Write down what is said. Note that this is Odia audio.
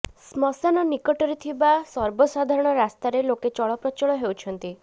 ଶ୍ମଶାନ ନିକଟରେ ଥିବା ସର୍ବସାଧାରଣ ରାସ୍ତାରେ ଲୋକେ ଚଳପ୍ରଚଳ ହେଉଛନ୍ତି